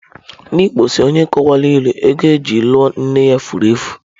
Ndị Igbo si, onye a kọwara ịlụ, ego eji lụọ nne ya fụrụ efu.